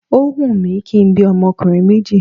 Óhun mi kí n bí ọmọkùnrin méjì